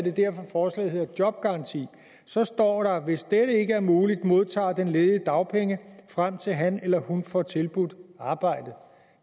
er derfor forslaget hedder en jobgaranti så står der hvis dette ikke er muligt modtager den ledige dagpenge frem til han eller hun får tilbudt arbejde